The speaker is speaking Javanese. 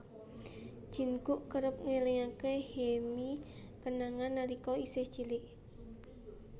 Jin Guk kerep ngélingaké Hye Mi kenangan nalika isih cilik